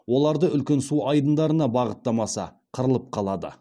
оларды үлкен су айдындарына бағыттамаса қырылып қалады